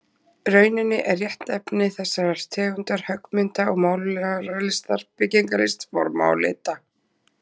rauninni er réttnefni þessarar tegundar höggmynda- og málaralistar byggingalist forma og lita.